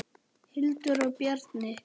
Hildur og Bjarni.